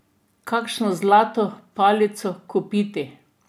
Kakšno zlato palico kupiti?